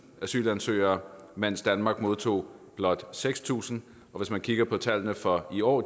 asylansøgere mens danmark modtog blot seks tusind og hvis man kigger på tal fra i år